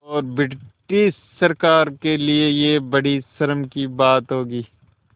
और ब्रिटिश सरकार के लिये यह बड़ी शर्म की बात होगी